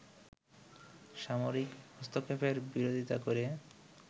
সামরিক হস্তক্ষেপের বিরোধিতা করে